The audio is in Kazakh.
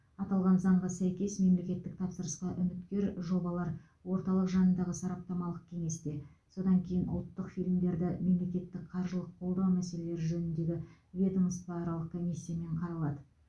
аталған заңға сәйкес мемлекеттік тапсырысқа үміткер жобалар орталық жанындағы сараптамалық кеңесте содан кейін ұлттық фильмдерді мемлекеттік қаржылық қолдау мәселелері жөніндегі ведомствоаралық комиссиямен қаралады